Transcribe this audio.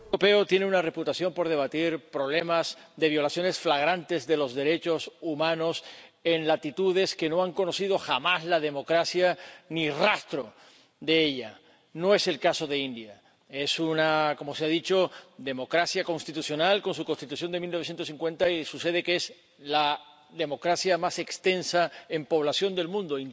Señor presidente, el Parlamento Europeo tiene una reputación por debatir problemas de violaciones flagrantes de los derechos humanos en latitudes que no han conocido jamás la democracia, ni rastro de ella. No es el caso de la India. Es —como se ha dicho— una democracia constitucional, con su Constitución de 1950, y sucede que es la democracia más extensa en población del mundo.